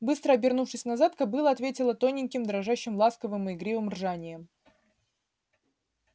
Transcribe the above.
быстро обернувшись назад кобыла ответила тоненьким дрожащим ласковым и игривым ржанием